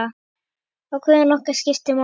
Atkvæði okkar skiptir máli.